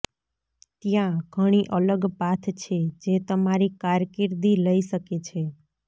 ત્યાં ઘણી અલગ પાથ છે જે તમારી કારકિર્દી લઇ શકે છે